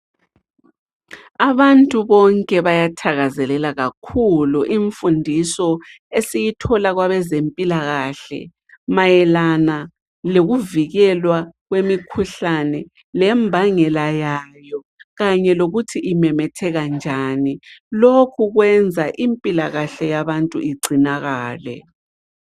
Abantu bonke bayathakazelela kakhulu imfundiso esiyithola kwabazempilakahle mayelana lokuvikelwa kwemikhuhlane lembangela yayo kanye lokuthi imemetheka njani lokhu kwenza impilakahle yabantu igcinakale.